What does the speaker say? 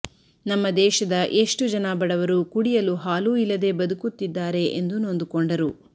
ನಮ್ಮ ದೇಶದ ಎಷ್ಟು ಜನ ಬಡವರು ಕುಡಿಯಲು ಹಾಲೂ ಇಲ್ಲದೇ ಬದುಕುತ್ತಿದ್ದಾರೆ ಎಂದು ನೊಂದುಕೊಂಡರು